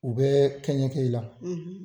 U bɛ kɛɲɛkɛ i la.